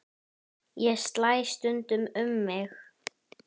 Ég slæ stundum um mig.